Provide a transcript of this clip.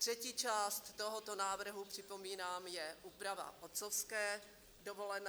Třetí část tohoto návrhu, připomínám, je úprava otcovské dovolené.